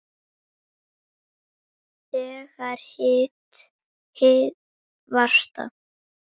Þegar hið virta